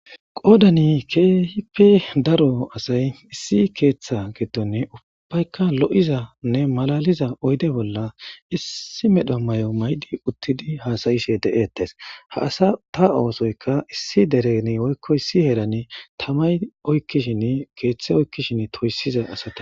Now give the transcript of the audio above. Qodani keehippe daro asay issi keeththe geddonne ubbayka lo7izanne malaliza oyde bolla issi medha may7o maydi uttidi haasayishe de7ettes ha asa ta oosoyka issi dereni oykko issi herani tamay shi keeththe oykkishin toyssiza asate